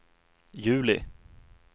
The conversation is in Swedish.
juli